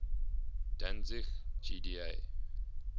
danzig gda